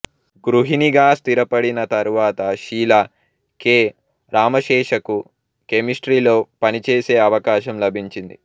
గృహిణిగా స్థిరపడిన తరువాత షీలా కె రామశేషకు కెమెస్ట్రీలో పనిచేసే అవకాశం లభించింది